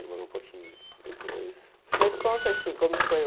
Demorou um pouquinho, depois... Mas conta, assim, como foi o...